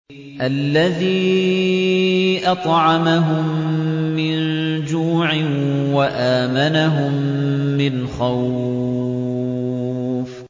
الَّذِي أَطْعَمَهُم مِّن جُوعٍ وَآمَنَهُم مِّنْ خَوْفٍ